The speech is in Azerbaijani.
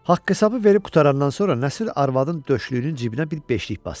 Haqq hesabı verib qurtarandan sonra Nəsir arvadın döşlüyünün cibinə bir beşlik basdı.